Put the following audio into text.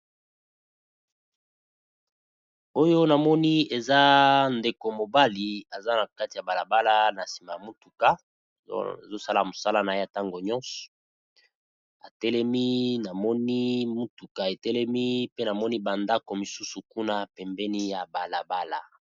Oyo na moni eza ndeko mobali aza na kati ya bala bala, na sima ya mutuka azo sala mosala na ye tango nyonso, a telemi . Na moni mutuka e telemi pe na moni ba ndaku mosusu kuna pembeni ya bala bala .